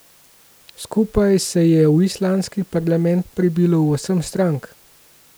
Skupaj se je v islandski parlament prebilo osem strank.